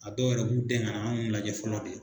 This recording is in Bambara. A dɔw yɛrɛ b'u dɛn ŋana an m'u lajɛ fɔlɔ de